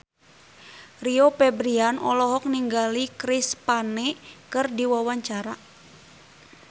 Rio Febrian olohok ningali Chris Pane keur diwawancara